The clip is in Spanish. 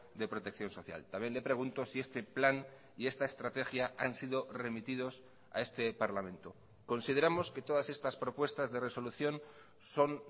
de protección social también le pregunto si este plan y esta estrategia han sido remitidos a este parlamento consideramos que todas estas propuestas de resolución son